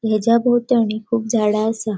हेज्या बोवतणि कुब झाड़ा असा.